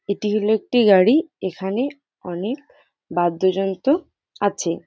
এটি হলো একটি গাড়ি এখানে অনেক বাদ্যযন্ত্র আছে ।